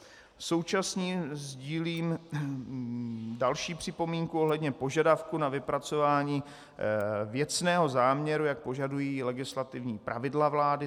Současně sdílím další připomínku ohledně požadavků na vypracování věcného záměru, jak požadují legislativní pravidla vlády.